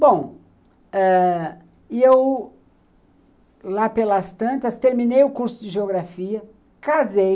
Bom, ãh, e eu lá pelas tantas terminei o curso de geografia, casei.